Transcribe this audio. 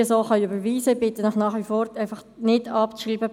Ich bitte Sie nach wie vor, den Punkt 3 nicht abzuschreiben.